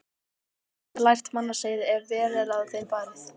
Danir geta lært mannasiði, ef vel er að þeim farið.